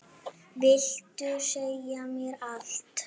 Vildi segja mér allt.